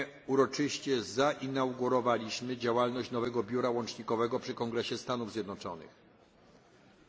Uroczyście zainaugurowaliśmy działalność nowego biura łącznikowego przy Kongresie Stanów Zjednoczonych w Waszyngtonie.